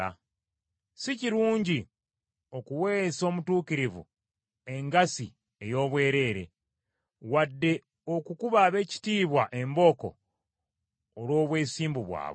Si kirungi okuweesa omutuukirivu engassi ey’obwereere wadde okukuba ab’ekitiibwa embooko olw’obwesimbu bwabwe.